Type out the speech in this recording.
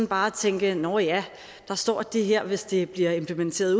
bare at tænke nå ja der står at det her hvis det bliver implementeret